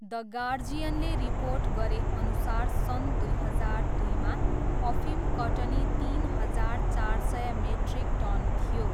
The गार्जियनले report गरेअनुसार सन् दुई हजार दुईमा अफिम कटनी तिन हजार चार सय मेट्रिक टन थियो।